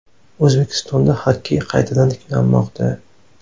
O‘zbekistonda xokkey qaytadan tiklanmoqda.